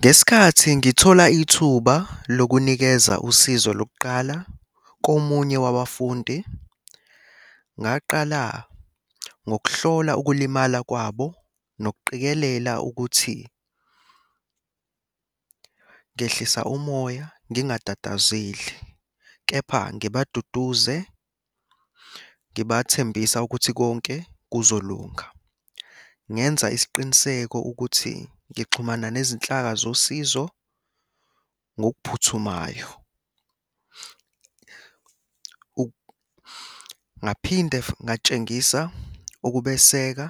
Ngesikhathi ngithola ithuba lokunikeza usizo lokuqala komunye wabafundi, ngaqala ngokuhlola ukulimala kwabo nokuqikelela ukuthi ngehlisa umoya ngingatatazeli, kepha ngibaduduze, ngibathembisa ukuthi konke kuzolunga. Ngenza isiqiniseko ukuthi ngixhumana nezinhlaka zosizo ngokuphuthumayo. Ngaphinde ngatshengisa ukubeseka,